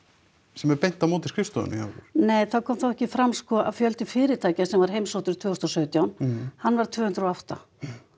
sem er beint á móti skrifstofunni ykkar nei það kom ekki fram þá sko að fjöldi fyrirtækja sem var heimsóttur tvö þúsund og sautján hann var tvö hundruð og átta